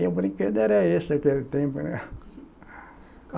O brinquedo era esse daquele tempo, né?